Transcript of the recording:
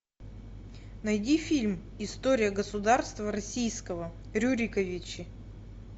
найди фильм история государства российского рюриковичи